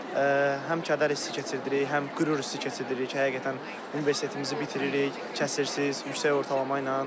Həm kədər hissi keçirdirik, həm qürur hissi keçirdirik, həqiqətən universitetimizi bitiririk, kəsirsiz, yüksək ortalama ilə.